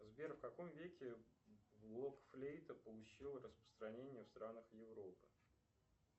сбер в каком веке блок флейта получила распространение в странах европы